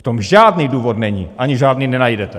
V tom žádný důvod není, ani žádný nenajdete.